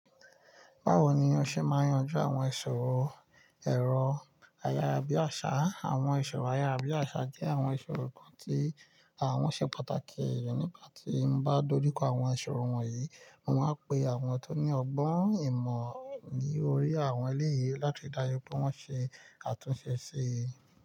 Báwo ni o ṣe máa ń yanjú àwọn ìṣòro ẹ̀rọ ayárabíàṣá? Àwọn ìṣòro ayára bí àṣá jẹ́ àwọn ìṣòro kan tí àwọn ṣe pàtàkì. Èmi nígbà tí n bá dojú kọ àwọn ìṣòro wọ̀nyí, mo máa ń pe àwọn tó ní ọgbọ́n ìmọ̀ lórí àwọn eléyìí láti ríi dájú pé wọ́n ṣe àtúnṣe sí i.